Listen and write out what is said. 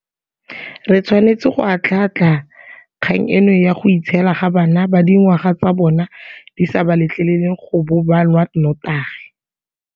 Re tshwanetse go atlhaatlha kgang eno ya go itshiela ga bana ba dingwaga tsa bona di sa ba letleng go bo ba nwa notagi.